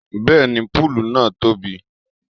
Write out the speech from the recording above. Bẹ́ẹ̀ni púùlù náà tóbi